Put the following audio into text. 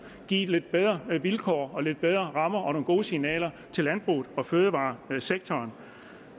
at give det lidt bedre vilkår og lidt bedre rammer og nogle gode signaler til landbruget og fødevaresektoren